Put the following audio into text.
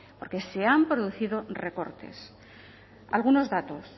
porque se han producido recortes algunos datos